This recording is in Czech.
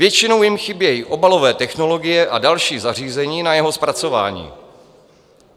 Většinou jim chybí obalové technologie a další zařízení na jeho zpracování.